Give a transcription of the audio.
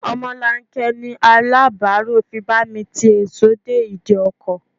Omolanke ni Aláàbáárù fi bá mi ti èso dé ìdí ọkọ̀.